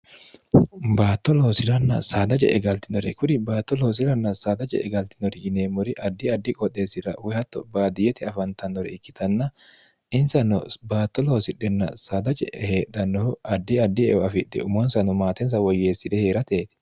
baatto loosi'ranna saada je e galtinore kuri baatto loosiranna saada je'e galtinori yineemmori addi addi qooxheessira woyi hatto baadiyyete afantannore ikkitanna insano baatto loosidhenna saada je'e heedhannohu addi addi eeo afidhe umoonsano maatensa woyyeesside hee'rateeti